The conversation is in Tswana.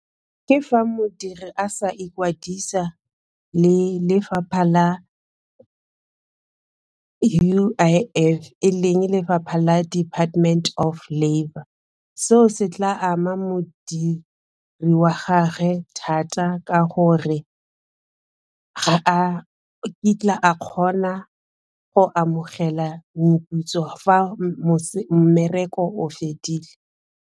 Ke fa modiri a sa ikwadisa le lefapha la U_I_F e leng lefapha la department of labour, seo se tla ama modiri wa gagwe thata ka gore ga a kitla a kgona go amogela moputso fa mmereko o fedile.